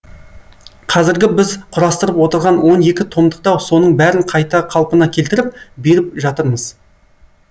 қазіргі біз құрастырып отырған он екі томдықта соның бәрін қайта қалпына келтіріп беріп жатырмыз